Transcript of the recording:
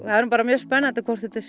er nú bara mjög spennandi hvort þetta er